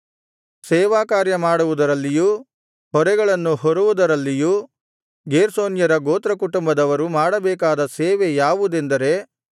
ಸೇವಾಕಾರ್ಯ ಮಾಡುವುದರಲ್ಲಿಯೂ ಹೊರೆಗಳನ್ನು ಹೊರುವುದರಲ್ಲಿಯೂ ಗೇರ್ಷೋನ್ಯರ ಗೋತ್ರಕುಟುಂಬದವರು ಮಾಡಬೇಕಾದ ಸೇವೆ ಯಾವುದೆಂದರೆ